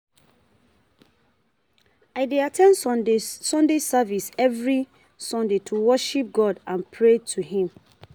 I dey at ten d Sunday service every Sunday to worship God and pray to him.